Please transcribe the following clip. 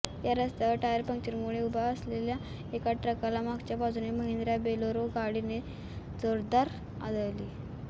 या रस्त्यावर टायर पंक्चरमुळे उभ्या असलेल्या एका ट्रकला मागच्या बाजूने महिंद्रा बोलेरो गाडी जोरदारपणे आदळली